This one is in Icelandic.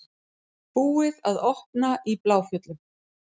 Búið að opna í Bláfjöllum